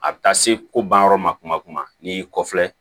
A bɛ taa se ko ban yɔrɔ ma kuma n'i y'i kɔfilɛ